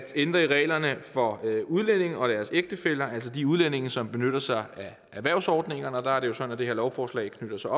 ændre reglerne for udlændinge og deres ægtefæller altså de udlændinge som benytter sig af erhvervsordningerne og der er det jo sådan at det her lovforslag knytter sig